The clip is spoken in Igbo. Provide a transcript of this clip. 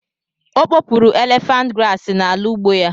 O kpopuru élèfànt grààsị n'ala ugbo ya